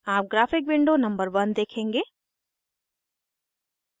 आप graphic window number 1 देखेंगे